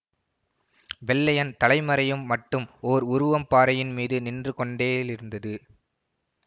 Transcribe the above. வெள்ளையன் தலை மறையும் மட்டும் ஓர் உருவம் பாறையின் மீது நின்றுகொண்டேலிருந்தது